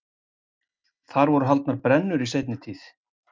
Þar voru haldnar brennur í seinni tíð.